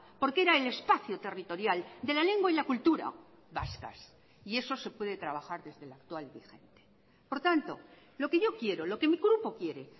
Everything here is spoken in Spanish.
porque era el espacio territorial de la lengua y la cultura vascas y eso se puede trabajar desde la actual vigente por tanto lo que yo quiero lo que mi grupo quiere